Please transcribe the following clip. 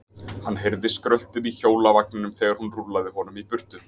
Hann heyrði skröltið í hjólavagninum þegar hún rúllaði honum í burtu.